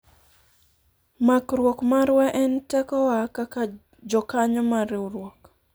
makruok marwa en tekowa kaka jokanyo mar riwruok